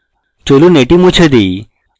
চলুন এটি মুছে দেই